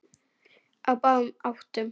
Á báðum áttum.